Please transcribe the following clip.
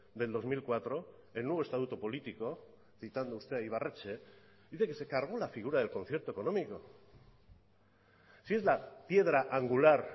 del dos mil cuatro el nuevo estatuto político citando usted a ibarretxe dice que se cargó la figura del concierto económico si es la piedra angular